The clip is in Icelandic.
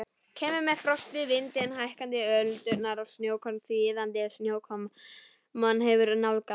Kemur með frostið, vindinn, hækkandi öldurnar og snjókorn því iðandi snjókoman hefur nálgast.